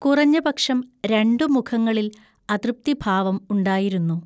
കുറഞ്ഞപക്ഷം രണ്ടു മുഖങ്ങളിൽ അതൃപ്തി ഭാവം ഉണ്ടായിരുന്നു.